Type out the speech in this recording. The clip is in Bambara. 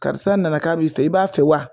Karisa nana k'a bi fɛ i b'a fɛ wa